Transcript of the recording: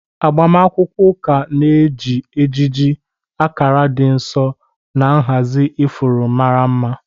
Agbamakwụkwọ ụka na-eji ejiji, akara dị nsọ, na nhazi ifuru mara mma.